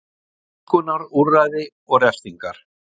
Þvingunarúrræði og refsingar.